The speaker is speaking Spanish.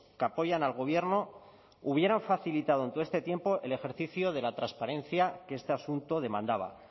que apoyan al gobierno hubieran facilitado en todo este tiempo el ejercicio de la transparencia que este asunto demandaba